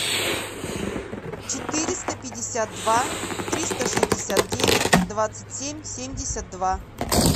четыреста пятьдесят два триста шестьдесят девять двадцать семь семьдесят два